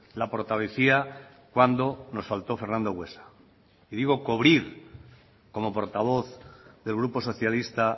la portavocía cuando nos faltó fernando buesa y digo cubrir como portavoz del grupo socialista